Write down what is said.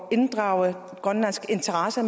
inddrage også grønlandske interesser